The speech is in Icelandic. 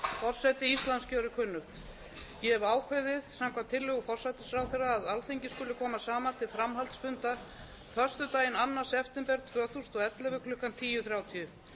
forseti íslands gjörir kunnugt ég hefi ákveðið samkvæmt tillögu forsætisráðherra að alþingi skuli koma saman til framhaldsfunda föstudaginn annan september tvö þúsund og ellefu klukkan tíu þrjátíu